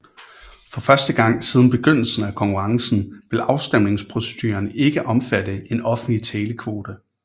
For første gang siden begyndelsen af konkurrencen vil afstemningsproceduren ikke omfatte en offentlig televote